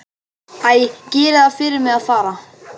Æ, gerið það fyrir mig að fara.